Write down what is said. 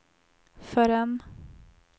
förrän